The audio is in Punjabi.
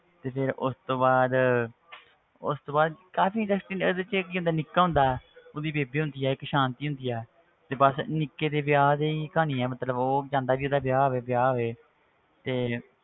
ਤੇ ਫਿਰ ਉਸ ਤੋਂ ਬਾਅਦ ਉਸ ਤੋਂ ਬਾਅਦ ਕਾਫ਼ੀ interesting ਉਹਦੇ ਵਿੱਚ ਇੱਕ ਕੀ ਹੁੰਦਾ ਨਿੱਕਾ ਹੁੰਦਾ ਉਹਦੀ ਬੇਬੇ ਹੁੰਦੀ ਆ ਇੱਕ ਸਾਂਤੀ ਹੁੰਦੀ ਆ ਤੇ ਬਸ ਨਿੱਕੇ ਦੇ ਵਿਆਹ ਦੀ ਕਹਾਣੀ ਆ ਮਤਲਬ ਉਹ ਚਾਹੁੰਦਾ ਵੀ ਉਹਦਾ ਵਿਆਹ ਹੋਵੇ ਵਿਆਹ ਹੋਵੇ ਤੇ